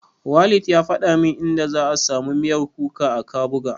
Walid ya faɗa min inda za'a samu miyar kuka a Kabuga.